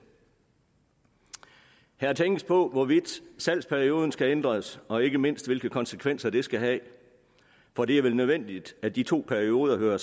her tænkes der på hvorvidt salgsperioden skal ændres og ikke mindst hvilke konsekvenser det skal have for det er vel nødvendigt at de to perioder hører